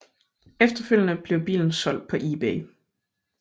Efterfølgende blev bilen solgt på eBay